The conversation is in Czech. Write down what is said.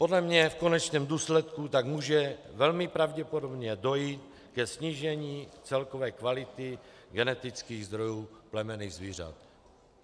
Podle mě v konečném důsledku tak může velmi pravděpodobně dojít ke snížení celkové kvality genetických zdrojů plemenných zvířat.